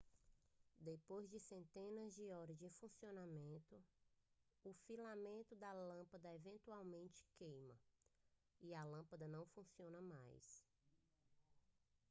depois de centenas de horas de funcionamento o filamento da lâmpada eventualmente queima e a lâmpada não funciona mais